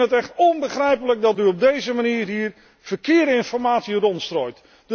Ik vind het echt onbegrijpelijk dat u op deze manier hier verkeerde informatie rondstrooit.